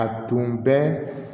A tun bɛ